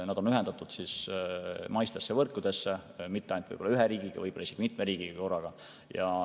Nad on ühendatud maiste võrkudega, ja mitte ainult ühes riigis, vaid võib-olla isegi mitmes riigis korraga.